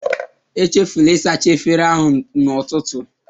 Echefula ịsacha efere ahụ n'ụtụtụ.